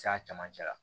C'a camancɛ la